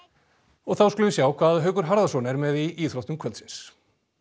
og þá skulum við sjá hvað Haukur Harðarson er með í íþróttum kvöldsins